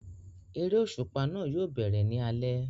Eré òṣùpá náà yóò bẹ̀rẹ̀ ní alẹ́